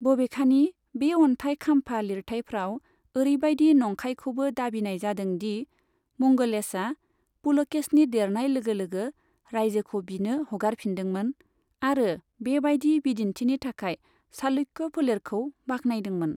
बबेखानि, बे अन्थाइ खाम्फा लिरथाइफ्राव ओरैबायदि नंखायखौबो दाबिनाय जादों दि मंगलेशआ पुलकेशिन देरनाय लोगो लोगो रायजोखौ बिनो हगारफिनदोंमोन आरो बेबायदि बिदिन्थिनि थाखाय चालुक्य फोलेरखौ बाख्नायदोंमोन।